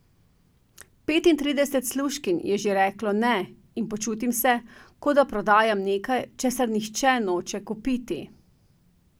Petintrideset služkinj je že reklo ne in počutim se, kot da prodajam nekaj, česar nihče noče kupiti.